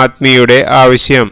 ആര്മിയുടെ ആവശ്യം